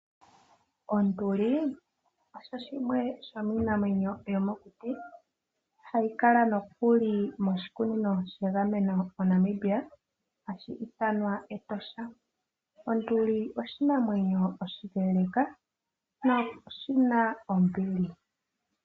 Onduli osho shimwe shomiinamwenyo yomokuti , hayi kala nokuli moshikunino shegameno moNamibia hashi ithanwa Etosha National Park. Onduli oshinamwenyo oshileeleeka, sho oshina ombili.